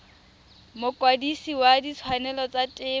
mokwadise wa ditshwanelo tsa temo